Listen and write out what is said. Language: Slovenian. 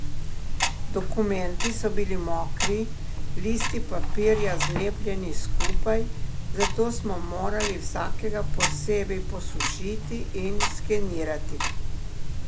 Dokumenti so bili mokri, listi papirja zlepljeni skupaj, zato smo morali vsakega posebej posušiti in skenirati.